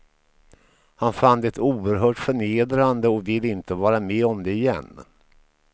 Han fann det oerhört förnedrande och vill inte vara med om det igen.